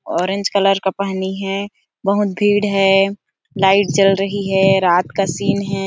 Orange colour का पहनी है बहुत भीड़ है लाईट जल रही है रात का सीन है ।